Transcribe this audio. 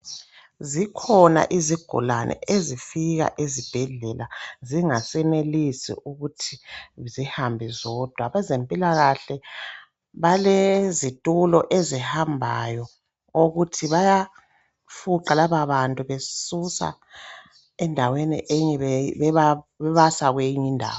Zikhona izigulani ezifika ezibhedlela zingasenelisi ukuthi zihahambe zodwa. Abezempilakahle balezitulo ezihambayo okokuthi bayafuqa lababantu bebasusa kwenye indawo bebasa kwenye indawo.